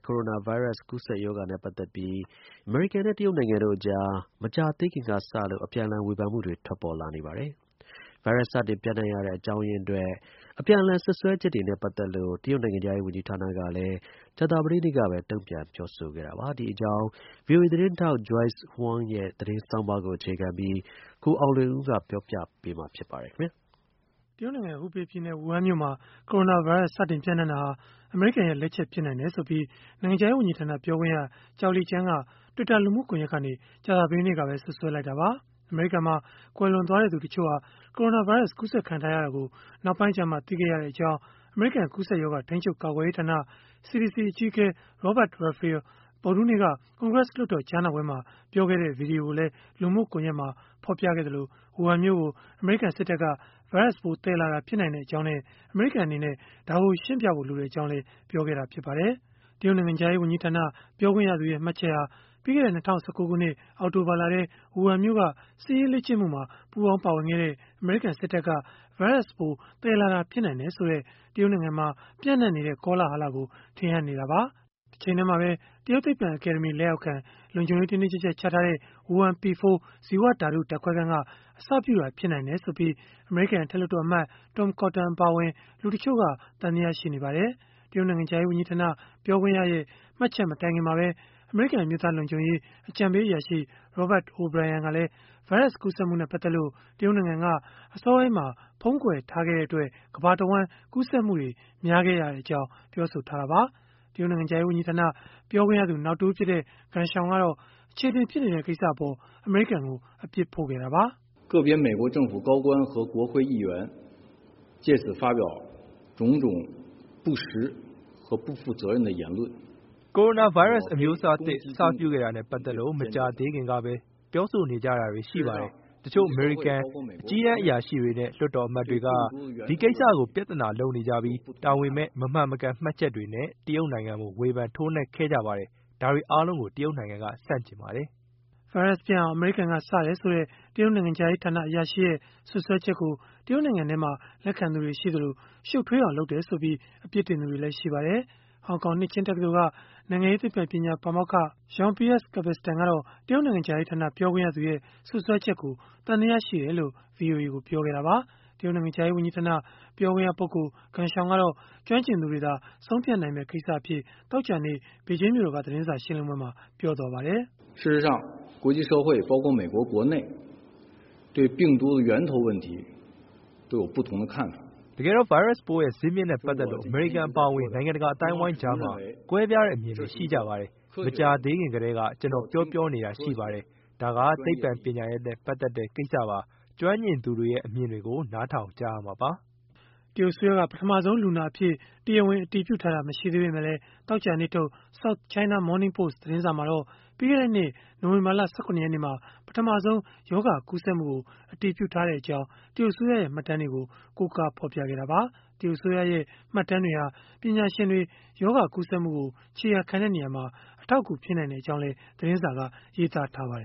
ကိုရိုနာဗိုင်းရပ်စ် ကူးစက်ပျံ့နှံ့မှုနဲ့ ပတ်သက်ပြီး အမေရိကန်နဲ့ တရုတ်နိုင်ငံတို့ကြား မကြာသေးခင်ကစလို့ အပြန်အလှန် ဝေဖန်မှုတွေ ထွက်ပေါ်လာနေပါတယ်။ ဗိုင်းရပ်စ် စတင်ပျံ့နံှ့တဲ့ အကြောင်းရင်းအတွက် အပြန်အလှန် စွပ်စွဲချက်တွေနဲ့ ပတ်သက်လို့ တရုတ်နိုင်ငံခြားရေး ဝန်ကြီးဌာနကလည်း ကြာသပတေးနေ့ကပဲ တုံ့ပြန်ပြောဆိုခဲ့တာပါ။ ဒီအကြောင်း ဗွီအိုအေသတင်းထောက် Joyce Huang ရဲ့ သတင်းဆောင်းပါးကို အခြေခံပြီး ကိုအောင်လွင်ဦးက ပြောပြပေးမှာ ဖြစ်ပါတယ်။ တရုတ်နိုင်ငံ ဟူဘေးပြည်နယ်၊ ဝူဟန်မြို့မှာ ကိုရိုနာဗိုင်းရပ်စ် စတင်ပျံ့နှံ့ခဲ့တာဟာ အမေရိကန်ရဲ့ လက်ချက် ဖြစ်နိုင်တယ်ဆိုပြီး နိုင်ငံခြားရေး ဝန်ကြီးဌာန ပြောခွင့်ရ Zhao Lijian က Twitter လူမှုကွန်ရက်ကနေ ကြာသပတေးနေ့ကပဲ စွပ်စွဲလိုက်တာပါ။ အမေရိကန်မှာ ကွယ်လွန်သွားသူ တချို့ဟာ ကိုရိုနာဗိုင်းရပ်စ် ကူးစက်ခံထားရတာကို နောက်ပိုင်းကျမှ သိရှိခဲ့ရကြောင်း အမေရိကန် ကူးစက်ရောဂါ ထိန်းချုပ်ကာကွယ်ရေးဌာန (CDC) အကြီးအကဲ Robert Redfield ဗုဒ္ဓဟူးနေ့က ကွန်ဂရက်လွှတ်တော် ကြားနာပွဲမှာ ပြောခဲ့တဲ့ ဗွီဒီယိုကိုလည်း လူမှုကွန်ရက်မှာ ဖော်ပြခဲ့သလို၊ ဝူဟန်မြို့ကို အမေရိကန် စစ်တပ်က ဗိုင်းရပ်စ်ပိုး သယ်လာတာ ဖြစ်နိုင်ကြောင်းနဲ့ အမေရိကန် အနေနဲ့ ရှင်းပြဖို့ လိုကြောင်းလည်း ပြောခဲ့ပါတယ်။ တရုတ်နိုင်ငံခြားရေး ဝန်ကြီးဌာန ပြောခွင့်ရသူရဲ့ မှတ်ချက်ဟာ ပြီးခဲ့တဲ့ ၂၀၁၉ ခုနှစ် အောက်တိုဘာလထဲ ဝူဟန်မြို့က စစ်ရေးလေ့ကျင့်မှုမှာ ပူးပေါင်းပါဝင်ခဲ့တဲ့ အမေရိကန်စစ်တပ်က ဗိုင်းရပ်စ်ပိုး သယ်လာတာ ဖြစ်နိုင်တယ်ဆိုတဲ့ တရုတ်နိုင်ငံမှာ ပျံ့နှံ့နေတဲ့ ကောလဟလကို ထင်ဟပ်နေတာပါ။ တချိန်တည်းမှာပဲ တရုတ်သိပ္ပံအကယ်ဒမီ လက်အောက်ခံ လုံခြုံရေးတင်းတင်းကျပ်ကျပ် ချထားတဲ့ ဝူဟန် P4 ဇီဝဓာတု ဓာတ်ခွဲခန်းက အစပြုတာ ဖြစ်နိုင်တယ်ဆိုပြီး အမေရိကန် အထက်လွှတ်တော်အမတ် Tom Cotton အပါအဝင် လူတချို့က သံသယ ရှိနေကြပါတယ်။ တရုတ်နိုင်ငံခြားရေးဝန်ကြီးဌာန ပြောခွင့်ရရဲ့ မှတ်ချက်မတိုင်ခင်မှာပဲ အမေရိကန် အမျိုးသား လုံခြုံရေး အကြံပေးအရာရှိ Robert O’Brien ကလည်း ဗိုင်းရပ်စ်ကူးစက်မှုနဲ့ ပတ်သက်လို့ တရုတ်နိုင်ငံက အစောပိုင်းမှာ ဖုံးကွယ်ထားခဲ့တဲ့အတွက် ကမ္ဘာတဝှမ်း ကူးစက်မှုတွေ များခဲ့ရကြောင်း ပြောဆိုခဲ့တာပါ။ တရုတ်နိုင်ငံခြားရေး ဝန်ကြီးဌာန ပြောခွင့်ရသူ နောက်တဦးဖြစ်တဲ့ Geng Shuang ကတော့ အချေအတင် ဖြစ်နေတဲ့ ကိစ္စအပေါ် အမေရိကန်ကို အပြစ်ဖို့ခဲ့တာပါ။ “ကိုရိုနာဗိုင်းရပ်စ် အမျိုးအစားသစ် အစပြုခဲ့တာနဲ့ ပတ်သက်လို့ မကြာသေးခင်ကပဲ ပြောဆိုနေကြတာတွေ ရှိပါတယ်။ တချို့ အမေရိကန် အကြီးတန်းအရာရှိတွေနဲ့ လွှတ်တော်အမတ်တွေက ဒီကိစ္စကို ပြဿနာလုပ်နေကြပြီး တာဝန်မဲ့ မမှန်မကန် မှတ်ချက်တွေနဲ့ တရုတ်နိုင်ငံကို ဝေဖန်ထိုးနှက်ခဲ့ကြပါတယ်။ ဒါတွေအားလုံးကို တရုတ်နိုင်ငံက ဆန့်ကျင်ပါတယ်။” ဗိုင်းရပ်စ်ပျံ့အောင် အမေရိကန်က စတယ်ဆိုတဲ့ တရုတ်နိုင်ငံခြားရေးဌာန အရာရှိရဲ့ စွပ်စွဲချက်ကို တရုတ်နိုင်ငံထဲမှာ လက်ခံသူတွေ ရှိသလို ရှုပ်ထွေးအောင် လုပ်တယ်ဆိုပြီး အပြစ်တင်သူတွေလည်း ရှိပါတယ်။ ဟောင်ကောင် နှစ်ခြင်းတက္ကသိုလ်က နိုင်ငံရေးသိပ္ပံပညာဌာန ပါမောက္ခ Jean-Pierre Cabestan ကတော့ တရုတ်နိုင်ငံခြားရေးဌာန ပြောခွင့်ရသူရဲ့ စွပ်စွဲချက်ကို သံသယရှိတယ်လို့ ဗွီအိုအေကို ပြောခဲ့တာပါ။ တရုတ်နိုင်ငံခြားရေး ဝန်ကြီးဌာန ပြောခွင့်ရ Geng Shuang ကတော့ ကျွမ်းကျင်သူတွေသာ ဆုံးဖြတ်နိုင်မယ့် ကိစ္စအဖြစ် သောကြာနေ့ ဘေဂျင်းမြို့တော်က သတင်းစာရှင်းလင်းပွဲမှာ ပြောသွားပါတယ်။ “တကယ်တော့ ဗိုင်းရပ်စ်ပိုးရဲ့ ဇစ်မြစ်နဲ့ ပတ်သက်လို့ အမေရိကန် အပါအဝင် နိုင်ငံတကာ အသိုင်းအဝန်းကြားမှာ ကွဲပြားတဲ့ အမြင်တွေ ရှိကြပါတယ်။ မကြာသေးခင် ကတည်းက ကျနော် ပြောနေတာ ရှိပါတယ်၊ ဒါက သိပ္ပံပညာရပ်နဲ့ ပတ်သက်တဲ့ ကိစ္စပါ၊ ကျွမ်းကျင်သူတွေရဲ့ အမြင်တွေကို နားထောင်ကြရမှာပါ။” တရုတ်အစိုးရက ပထမဆုံးလူနာအဖြစ် တရားဝင် အတည်ပြုထားတာ မရှိသေးပေမဲ့လည်း သောကြာနေ့ထုတ် South China Morning Post သတင်းစာမှာတော့ ပြီးခဲ့တဲ့နှစ် နိုဝင်ဘာလ ၁၇ ရက်နေ့မှာ ပထမဆုံး ရောဂါကူးစက်မှုကို အတည်ပြုထားခဲ့ကြောင်း တရုတ်အစိုးရရဲ့ မှတ်တမ်းတွေကို ကိုးကားပြီး ဖော်ပြခဲ့တာပါ။ တရုတ်အစိုးရရဲ့ မှတ်တမ်းတွေဟာ ပညာရှင်တွေ ရောဂါကူးစက်မှုကို ခြေရာခံရာမှာ အထောက်အကူ ဖြစ်နိုင်ကြောင်းလည်း သတင်းစာက ရေးသားထားပါတယ